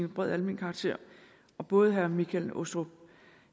bred almen karakter både herre michael aastrup